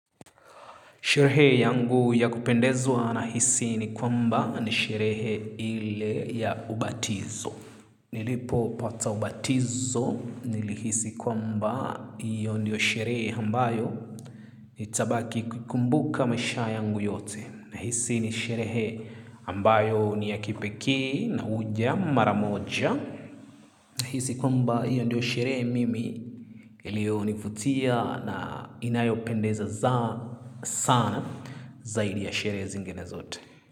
Sherehe yangu ya kupendezwa nahisi ni kwamba ni sherehe ile ya ubatizo. Nilipo pata ubatizo nili hisi kwamba hio ndio sherehe ambayo nitabaki kumbuka maisha yangu yote. Na hisi ni sherehe ambayo ni ya kipekee na huja mara moja. Hisi kwamba hiyo ndiyo sherehe mimi ilionivutia na inayo pendeza za sana zaidi ya sherehe zingine zote.